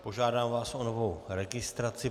Požádám vás o novou registraci.